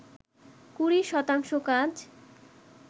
কুড়ি শতাংশ কাজ